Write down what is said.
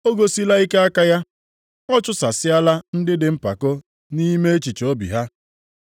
O gosila ike aka ya; ọ chụsasịala ndị dị mpako nʼime echiche obi ha.